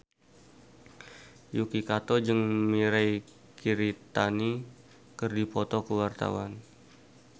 Yuki Kato jeung Mirei Kiritani keur dipoto ku wartawan